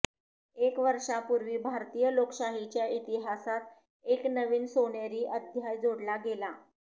एक वर्षांपूर्वी भारतीय लोकशाहीच्या इतिहासात एक नवीन सोनेरी अध्याय जोडला गेला